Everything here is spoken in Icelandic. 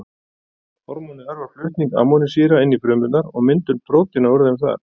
hormónið örvar flutning amínósýra inn í frumurnar og myndun prótína úr þeim þar